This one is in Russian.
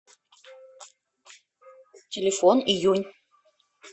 телефон июнь